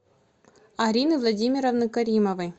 арины владимировны каримовой